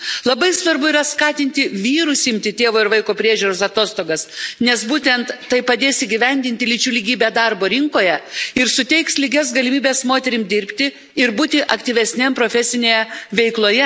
Labai svarbu yra skatinti vyrus imti tėvo ir vaiko priežiūros atostogas, nes būtent tai padės įgyvendinti lyčių lygybę darbo rinkoje ir suteiks lygias galimybes moterims dirbti ir būti aktyvesnėms profesinėje veikloje.